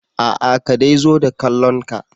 Aa ka dai zo da kallon ka.